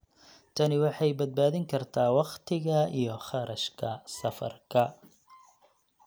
Tani waxay badbaadin kartaa wakhtiga iyo kharashka safarka.